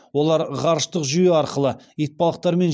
олар ғарыштық жүйе арқылы итбалықтармен